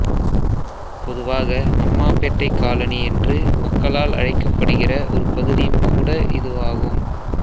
பொதுவாக அம்மாபேட்டை காலனி என்று மக்களால் அழைக்கப்படுகிற ஒரு பகுதியும் கூட இதுவாகும்